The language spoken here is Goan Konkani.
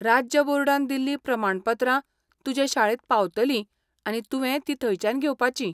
राज्य बोर्डान दिल्ली प्रमाणपत्रां तुजे शाळेंत पावतलीं आनी तुवें तीं थंयच्यान घेवपाचीं.